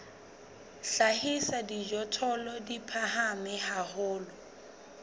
hlahisa dijothollo di phahame haholo